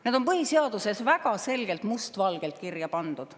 Need on põhiseaduses väga selgelt, must valgel kirja pandud.